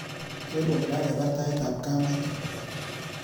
Ker kole kakepar taitab kameto.